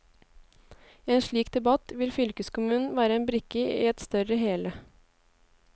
I en slik debatt vil fylkeskommunen være en brikke i et større hele.